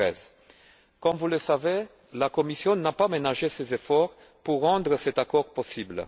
2013. Comme vous le savez, la Commission n'a pas ménagé ses efforts pour rendre cet accord possible.